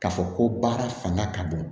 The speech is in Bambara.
K'a fɔ ko baara fanga ka bon